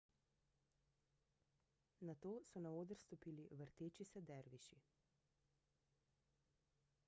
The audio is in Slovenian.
nato so na oder stopili vrteči se derviši